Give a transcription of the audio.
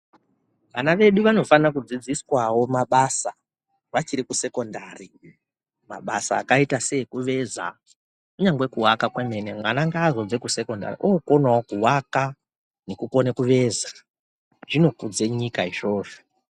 Vana vedu vanofana kudzidziswawo mabasa vachiri ku sekondari mabasa akaita se ekuveza kunyangwe ku vaka kwemene mwana ngaa zobve ku sekondari okonewo kuvaka neku kone veza zvokudze nyika izvozvo.